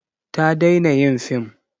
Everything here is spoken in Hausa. Ta daina yin film.